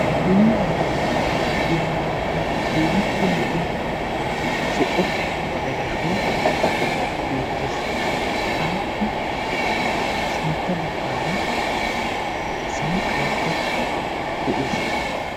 Puulayiyooga gidiya keehippe lo"iya zo"o magalashshoy beettees. Appe sintta baggaara sanqqaykka de'ees.